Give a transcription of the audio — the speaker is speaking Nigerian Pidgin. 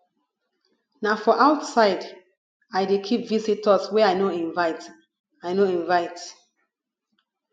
na for outside i dey keep visitors wey i no invite i no invite